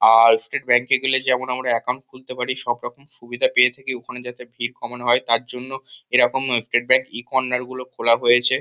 আর State Bank -এ গেলে যেমন আমরা একাউন্ট খুলতে পারি সবরকম সুবিধা পেয়ে থাকি ওখানে যাতে ভীড় কমানো হয় তার জন্য এরকম স্টেট ব্যাঙ্ক ই কর্নার -গুলো খোলা হয়েছে।